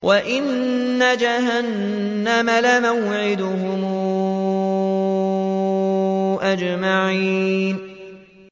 وَإِنَّ جَهَنَّمَ لَمَوْعِدُهُمْ أَجْمَعِينَ